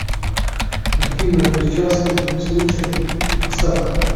картина несчастный случай поставь ка